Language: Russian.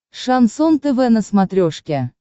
шансон тв на смотрешке